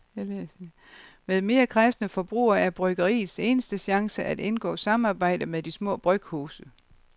Med mere kræsne forbrugere er bryggeriets eneste chance at indgå samarbejde med de små bryghuse.